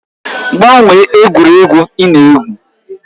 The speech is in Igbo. Gbanwee egwuregwu ị na-egwu!